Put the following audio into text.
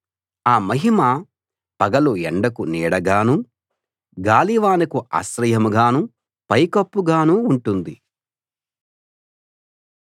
ఆ మహిమ పగలు ఎండకు నీడగానూ గాలివానకు ఆశ్రయంగానూ పైకప్పుగానూ ఉంటుంది